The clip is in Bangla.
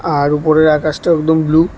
আর উপরের আকাশটা একদম ব্লু ।